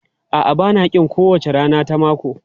A'a, ba na ƙin kowace rana ta mako.